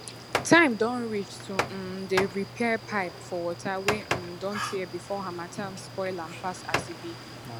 time don reach to um dey repair pipe for water wey um don tear before harmattan spoil am pass as e be